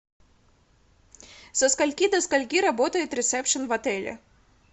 со скольки до скольки работает ресепшн в отеле